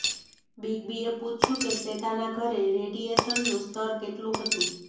big બીએ પૂછ્યું કે શ્વેતાના ઘરે રેડિએશનનું સ્તર કેટલું હતું